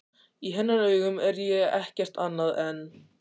Í hennar augum er ég ekkert annað en.